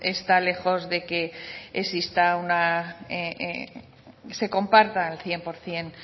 pues está lejos de que se comparta al cien por ciento